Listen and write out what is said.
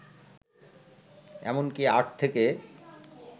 এমনকী আট থেকে